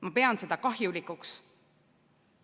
Ma pean seda kahjulikuks.